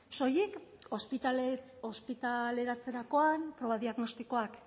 soilik ospitaleratzerakoan proba diagnostikoak